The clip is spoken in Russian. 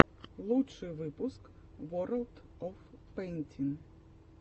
лучший выпуск ворлд оф пэйнтин